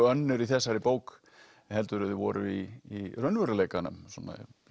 önnur í þessari bók heldur en þau voru í raunveruleikanum svona